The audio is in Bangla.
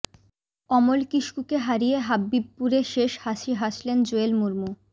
অমল কিস্কুকে হারিয়ে হব্বিবপুরে শেষ হাসি হাসলেন জোয়েল মুর্মু